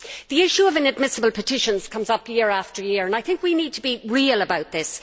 The issue of inadmissible petitions comes up year after year and I think we need to be real about this.